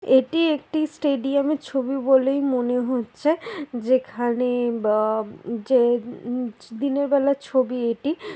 এটি একটি স্টেডিয়াম -এর ছবি বলেই মনে হচ্ছে যেখানে ব যে উম দিনের বেলার ছবি এটি ।